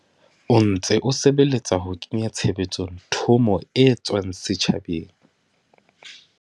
o ntse o sebeletsa ho kenya tshebetsong thomo e tswang setjhabeng.